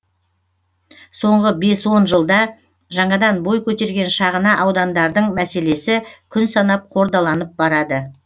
соңғы бес он жылда жаңадан бой көтерген шағына удандардың мәселесі күн санап қордаланып барады